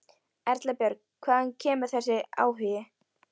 Erla Björg: Hvaðan kemur þessi áhugi?